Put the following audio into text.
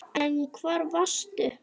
En hvar varstu?